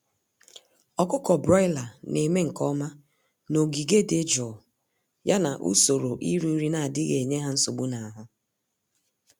Ọkụkọ broiler némè' nke ọma n'ogige dị jụụ, ya na usoro iri nri n'adịghị enye ha nsogbu n'ahụ